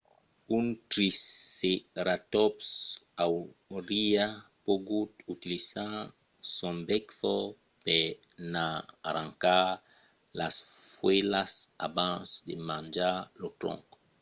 un triceratòps auriá pogut utilizar son bèc fòrt per n'arrancar las fuèlhas abans de manjar lo tronc